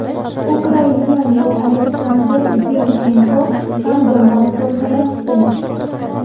Ukrainalik Oleksandr Zinchenko ham yomon ko‘rinmayapti.